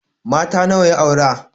Mata nawa ya aure?